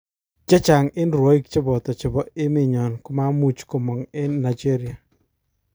Chechang eng rwoik cheboto chebo emenyon komamuch komog eng Nigeria